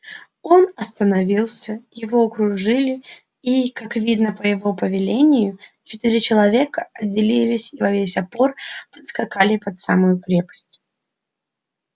он остановился его окружили и как видно по его повелению четыре человека отделились и во весь опор подскакали под самую крепость